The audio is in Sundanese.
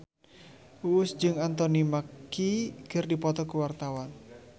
Uus jeung Anthony Mackie keur dipoto ku wartawan